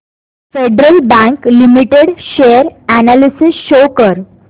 federal Bank Limited share analysis show कर